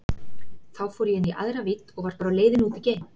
Þá fór ég inn í aðra vídd og var bara á leiðinni út í geim.